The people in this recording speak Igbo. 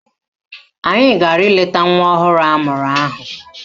Anyị gara ileta nwa ọhụrụ amụrụ ahụ